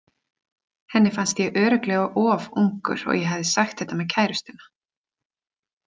Henni fannst ég örugglega of ungur og ég hafði sagt þetta með kærustuna.